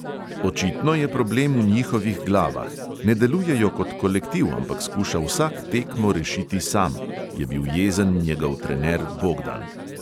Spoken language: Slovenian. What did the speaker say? "Očitno je problem v njihovih glavah: ne delujejo kot kolektiv, ampak skuša vsak tekmo rešiti sam," je bil jezen njegov trener bogdan.